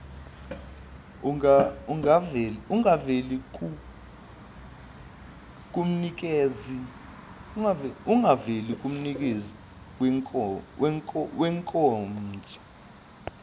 angaveli kumnikezi wenkonzo